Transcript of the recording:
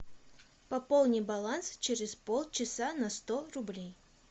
пополни баланс через полчаса на сто рублей